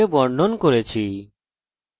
এই এরর পেলে আপনি জানেন কি করা উচিত